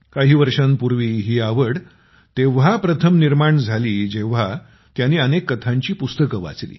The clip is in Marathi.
काही वर्षांपूर्वी ही आवड तेव्हा प्रथम निर्माण झाली जेव्हा त्यांनी अनेक कथांची पुस्तके वाचली